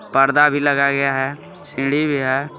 पर्दा भी लगाया गया है सीढ़ी भी है।